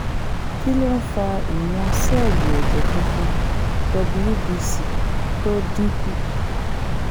kí ló ń fa ìwọ̀n sẹ́ẹ̀lì ẹ̀jẹ̀ funfun wbc tó dín kù?